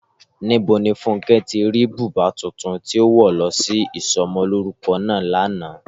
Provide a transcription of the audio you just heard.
Níbo ni Fúnkẹ́ ti rí bùbá tuntun tó wọ̀ lọ sí isọmọlúrúkọ náà lánàá?